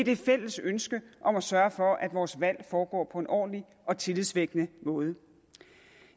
det fælles ønske om at sørge for at vores valg foregår på en ordentlig og tillidsvækkende måde